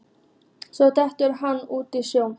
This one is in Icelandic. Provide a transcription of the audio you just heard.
Svo gekk hann út í sjóinn.